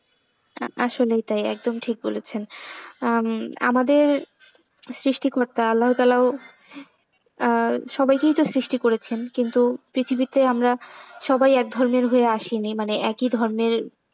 আসলেই তাই একদম ঠিক বলেছেন। আমাদের সৃষ্টিকর্তা আল্লাহ তালাও আ সবাইকেই তো সৃষ্টি করেছেন কিন্তু পৃথিবীতে আমরা সবাই এক ধর্মের হয়ে আসিনি। মানে একই ধর্মের,